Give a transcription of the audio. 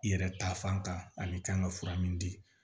I yɛrɛ ta fan kan ani i kan ka fura min di